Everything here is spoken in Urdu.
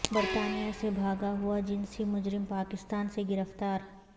برطانیہ سے بھاگا ہوا جنسی مجرم پاکستان سے گرفتار